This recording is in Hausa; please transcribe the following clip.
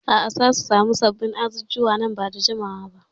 A'a, za su sami sabbin azuzuwa nan ba da jimawa ba.